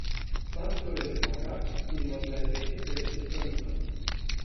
Fant torej zmaga in ima zdaj petinpetdeset frnikol.